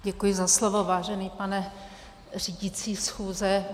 Děkuji za slovo, vážený pane řídící schůze.